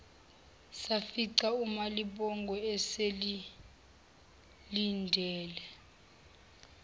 safica umalibongwe esesilindele